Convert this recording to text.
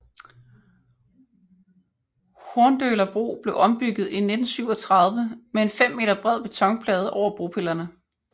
Horndøla bro blev ombygget i 1937 med en 5 meter bred betonplade over bropillerne